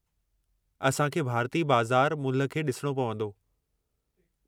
असां खे भारतीय बाज़ार मुल्हु खे ॾिसणो पवंदो।